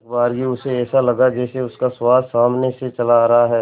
एकबारगी उसे ऐसा लगा जैसे उसका सुहास सामने से चला रहा है